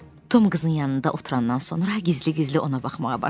Tom qızın yanında oturandan sonra gizli-gizli ona baxmağa başladı.